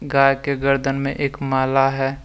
गाय के गर्दन में एक माला है।